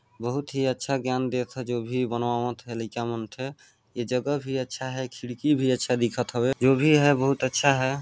बहुत ही अच्छा ज्ञान देत ह जो भी बनवावत है लइका मन थे ये जगह भी अच्छा है खिड़की भी अच्छा देखत हवे जो भी है बहुत अच्छा हैं।